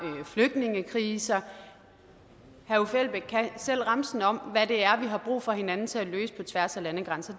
flygtningekriser herre uffe elbæk kan selv remsen om hvad det er vi har brug for hos hinanden til at løse på tværs af landegrænser